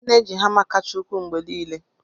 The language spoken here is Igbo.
M na-eji hama kacha ukwuu mgbe niile.